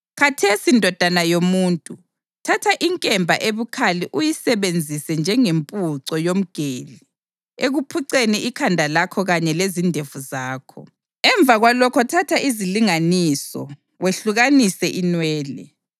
“Khathesi, ndodana yomuntu, thatha inkemba ebukhali uyisebenzise njengempuco yomgeli ekuphuceni ikhanda lakho kanye lezindevu zakho. Emva kwalokho thatha izilinganiso wehlukanise inwele.